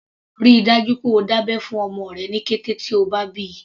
Rí i dájú pé o dá abẹ́ fún ọmọ rẹ ní kété tí o bá bíi.